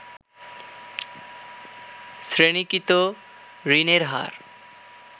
শ্রেণিকৃত ঋণের হার